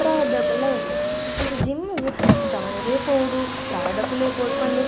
ಪ್ರಾಯದಕ್ಕುಲ್ಲ ಉಲ್ಲೆರ್ ಅಂಚ ಜಿಮ್ಮ್ ಗು ಜವನೆರೇ ಪೋವೊಡು ಪ್ರಾಯದಕುಲೆ ಪೋವೊಡು ಪಂದ್ --